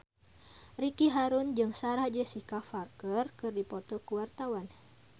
Ricky Harun jeung Sarah Jessica Parker keur dipoto ku wartawan